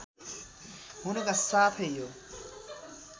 हुनुका साथै यो